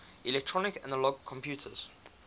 electronic analog computers